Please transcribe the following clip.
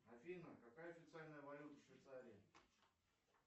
афина какая официальная валюта в швейцарии